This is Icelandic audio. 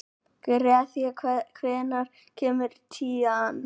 Grethe, hvenær kemur tían?